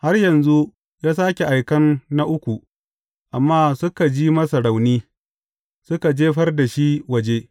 Har yanzu, ya sāke aikan na uku, amma suka ji masa rauni, suka jefar da shi waje.